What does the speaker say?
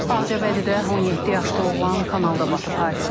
Ağcabədidə 17 yaşlı oğlan kanalda batıb.